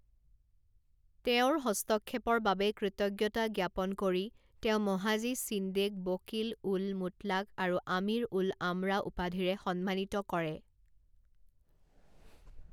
তেওঁৰ হস্তক্ষেপৰ বাবে কৃতজ্ঞতা জ্ঞাপন কৰি তেওঁ মহাজী শ্বিণ্ডেক বকিল উল মুতলাক আৰু আমিৰ উল আমৰা উপাধিৰে সন্মানিত কৰে।